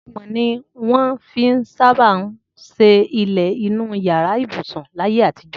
Amọ̀ ni wọ́n fi sábà ń ṣe ilẹ̀ inú yàrá ibùsùn láyé àtijọ́